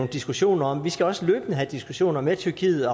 diskussioner om vi skal også løbende have diskussioner med tyrkiet